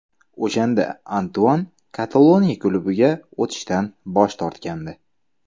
O‘shanda Antuan Kataloniya klubiga o‘tishdan bosh tortgandi.